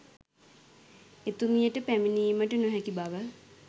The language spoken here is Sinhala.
එතුමියට පැමිණීමට නොහැකි බව